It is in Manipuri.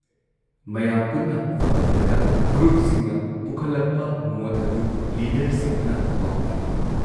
ꯃꯌꯥꯝ ꯄꯨꯟꯅ ꯐꯃꯤꯟꯅꯔꯒ ꯒ꯭ꯔꯨꯞꯁꯤꯡꯅ ꯄꯨꯈꯠꯂꯛꯄ ꯃꯣꯠ ꯑꯗꯨ ꯂꯤꯗꯔꯁꯤꯡꯗꯨꯅ ꯄꯥꯎ ꯇꯝꯏ ꯫